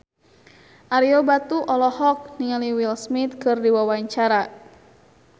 Ario Batu olohok ningali Will Smith keur diwawancara